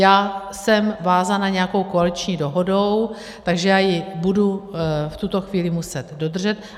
Já jsem vázána nějakou koaliční dohodou, takže já ji budu v tuto chvíli muset dodržet.